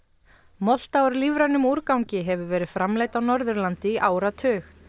molta úr lífrænum úrgangi hefur verið framleidd á Norðurlandi í áratug